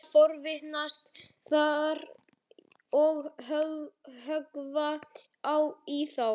Ég fór að forvitnast þar og höggva í þá.